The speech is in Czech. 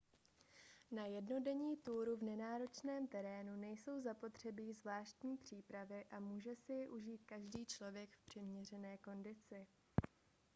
na jednodenní túru v nenáročném terénu nejsou zapotřebí zvláštní přípravy a může si ji užít každý člověk v přiměřené kondici